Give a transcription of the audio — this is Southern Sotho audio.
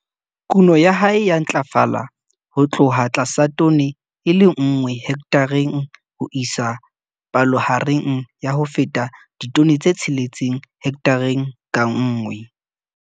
Kuno ya hae ya ntlafala ho tloha tlasa tone e le nngwe hekthareng ho isa palohareng ya ho feta ditone tse 6 hekthareng ka nngwe.